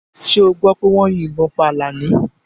Ṣé ọ gbọ́ pé wọ́n yín ìbọn pá Àlàní?